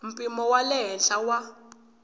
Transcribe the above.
mpimo wa le henhla wa